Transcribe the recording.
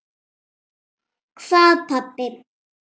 Hvað pabbi?